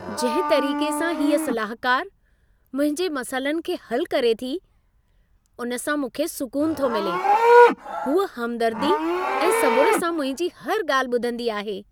जंहिं तरीक़े सां हीअ सलाहकारु मुंहिंजे मसइलनि खे हलु करे थी, उन सां मूंखे सुकून थो मिले। हूअ हमदर्दी ऐं सबुर सां मुंहिंजी हर ॻाल्हि ॿुधंदी आहे!